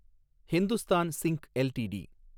Hindustan zinc LTD